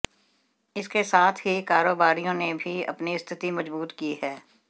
इसके साथ ही कारोबारियों ने भी अपनी स्थिति मजबूत की है